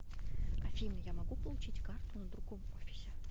афина я могу получить карту на другом офисе